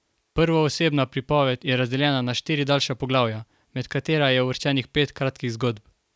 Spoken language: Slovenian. Prvoosebna pripoved je razdeljena na štiri daljša poglavja, med katera je uvrščenih pet kratkih zgodb.